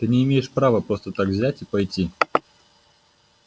ты не имеешь права просто так взять и пойти